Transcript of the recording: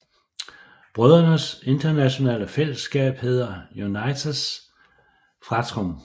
Brødrenes internationale fællesskab hedder Unitas Fratrum